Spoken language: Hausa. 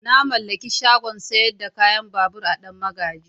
Na mallaki shagon sayar da kayan babur a danmagaji.